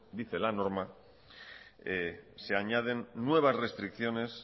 dice la norma se añaden nuevas restricciones